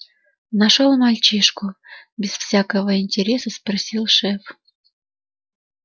нашёл мальчишку без всякого интереса спросил шеф